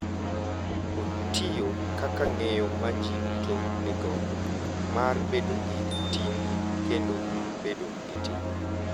Otiyo kaka ng’eyo ma ji duto nigo mar bedo gi ting’ kendo bedo gi ting’.